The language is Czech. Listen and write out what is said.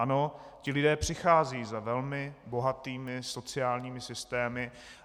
Ano, ti lidé přicházejí za velmi bohatými sociálními systémy.